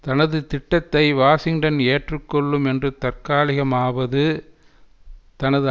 தனது திட்டத்தை வாஷிங்டன் ஏற்றுக்கொள்ளும் என்றும் தற்காலிகமாவது தனது